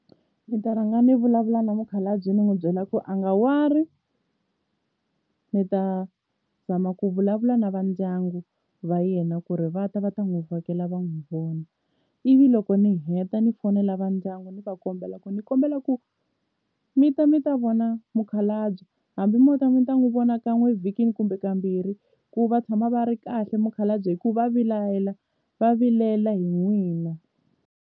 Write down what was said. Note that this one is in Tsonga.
Ni ta rhanga ni vulavula na mukhalabye ni n'wi byela ku a nga worry ni ta zama ku vulavula na va ndyangu va yena ku ri va ta va ta n'wi vhakela va n'wi vona ivi loko ni heta ni fonela va ku ndyangu ni va kombela ku ni kombela ku mi ta mi ta vona mukhalabye hambi mo ta mi ta n'wi vona kan'we evhikini kumbe kambirhi ku va tshama va ri kahle mukhalabye hikuva va va vilela hi n'wina.